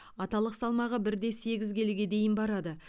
аталық салмағы бір де сегіз келіге дейін барады